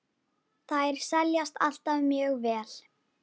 Þær seljast alltaf mjög vel.